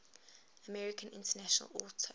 american international auto